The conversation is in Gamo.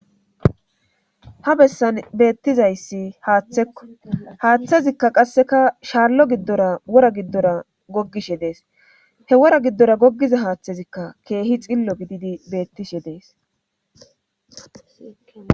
ha bessan beettizayssi haaththekko haaththezikka qasseka shaallo giddora wora giddora goggishe dees he wora giddora gogiza haaththezikka keehi xillo gididi beettishe dees.